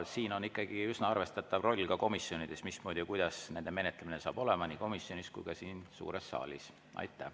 Selles on ikkagi üsna arvestatav roll ka komisjonidel, mismoodi ja kuidas saab olema nende menetlemine nii komisjonis kui ka siin suures saalis.